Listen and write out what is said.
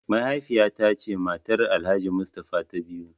Mahaifiya ta ce matar Alhaji mustafa ta biyu.